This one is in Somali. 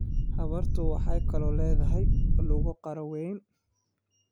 Habartu waxay kaloo leedahay lugo qaro weyn.